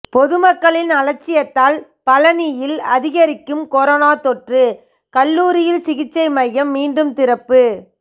பொதுமக்களின் அலட்சியத்தால் பழநியில் அதிகரிக்கும் கொரோனா தொற்று கல்லூரியில் சிகிச்சை மையம் மீண்டும் திறப்பு